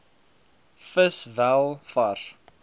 vis wel vars